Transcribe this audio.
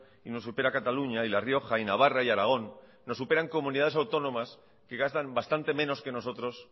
y nos supera cataluña y la rioja y navarra y aragón nos superan comunidades autónomas que gastan bastante menos que nosotros